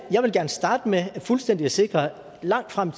jeg vil gerne starte med fuldstændig at sikre langt frem